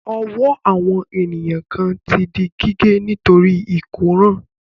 Ọwọ́ àwọn ènìyàn kan ti di gígé nítorí ìkóràn.